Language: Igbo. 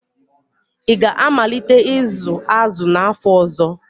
Ị ga-amalite ịzụ azụ n'afọ ọzọ?